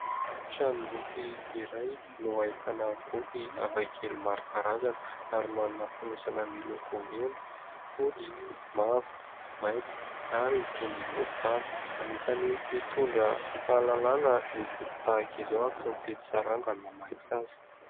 Trano boky iray no hahitana boky hafa kely maro karazana ary manana finosana miloko mena, fotsy, mavo, mainty, ary toy ny voaly tany. Hanisany mitondra fahalalàna ny boky tahaka izao ary tsy mifidy sarangany mamaky azy.